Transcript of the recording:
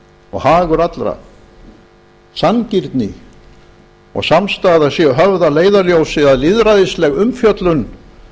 og hagur allra sanngirni og samstaða séu höfð að leiðarljósi að lýðræðisleg umfjöllun